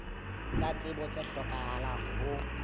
tsa tsebo tse hlokahalang ho